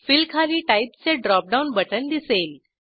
fill खाली type चे drop down button दिसेल